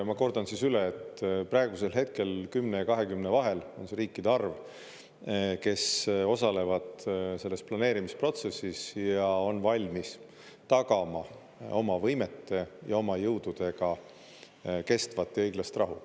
Ma kordan üle, et praegusel hetkel 10 ja 20 vahel on see riikide arv, kes osalevad selles planeerimisprotsessis ja on valmis tagama oma võimete ja oma jõududega kestvat ja õiglast rahu.